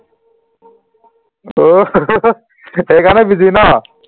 সেইকাৰণে busy ন